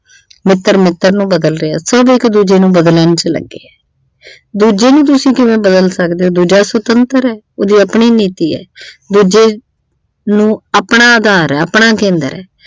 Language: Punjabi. ਮਿੱਤਰ ਮਿੱਤਰ ਨੂੰ ਬਦਲ ਰਿਹਾ ਸਭ ਇੱਕ ਦੂਜੇ ਨੂੰ ਬਦਲਣ ਚ ਲੱਗੇ ਆ ਦੂਜੇ ਨੂੰ ਤੁਸੀਂ ਕਿਵੇਂ ਬਦਲ ਸਕਦੇ ਹੋ ਦੂਜਾ ਸੁਤੰਤਰ ਆ ਉਹਦੀ ਆਪਣੀ ਨੀਤੀ ਆ ਦੂਜੇ ਨੂੰ ਆਪਣਾ ਆਧਾਰ ਐ ਆਪਣਾ ਕੇਂਦਰ ਐ।